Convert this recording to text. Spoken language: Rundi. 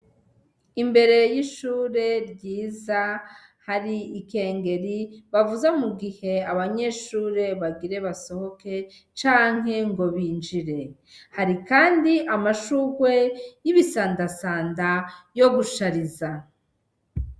Imbere y'ishure ryiza hari ikengeri bavuza mu gihe abanyeshure bagire basohoke canke ngo binjire, hari kandi amashugwe y'ibisandasanda yo gushariza.